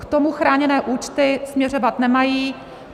K tomu chráněné účty směřovat nemají.